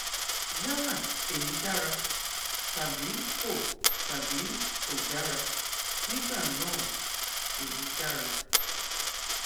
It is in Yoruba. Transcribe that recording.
yálà èyí dára tàbí kò tàbí kò dára nígbà náà èyí dára